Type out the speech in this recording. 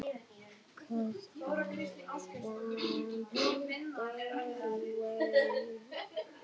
Hún var vond við Stebba, en miklu verri við Benna.